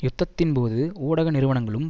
யுத்தத்தின் போது ஊடக நிறுவனங்களும்